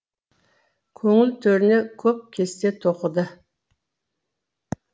көңіл төріне көп кесте тоқыды